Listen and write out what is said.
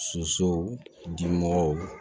Sosow dimɔgɔw